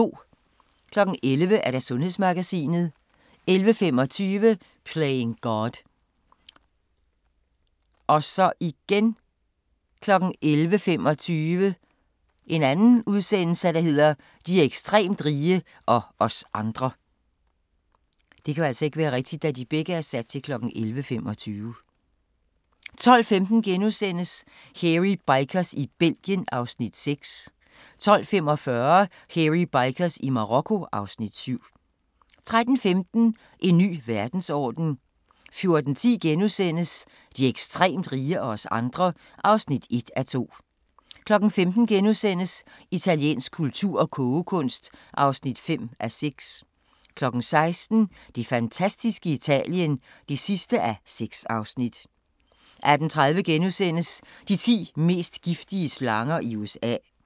11:00: Sundhedsmagasinet 11:25: Playing God 11:25: De ekstremt rige – og os andre 12:15: Hairy Bikers i Belgien (Afs. 6)* 12:45: Hairy Bikers i Marokko (Afs. 7) 13:15: En ny verdensorden 14:10: De ekstremt rige – og os andre (1:2)* 15:00: Italiensk kultur og kogekunst (5:6)* 16:00: Det fantastiske Italien (6:6) 18:30: De ti mest giftige slanger i USA *